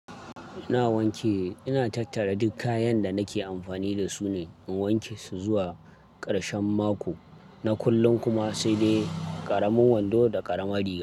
Ina wanke, ina tattara duk kayan da nake amfani da su ne, in wanke su zuwa karshen. Na kullum kuma saidai ƙara.